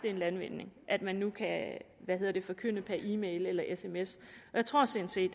en landvinding at man nu kan forkynde per e mail eller sms og jeg tror sådan set